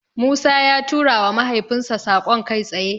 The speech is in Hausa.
Musa ya turawa mahaifinsa saƙon kai tsaye.